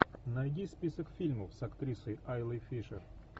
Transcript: найди список фильмов с актрисой айлой фишер